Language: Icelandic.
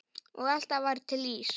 Og alltaf var til ís.